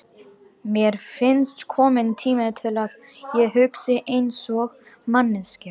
Mér finnst kominn tími til að ég hugsi einsog manneskja.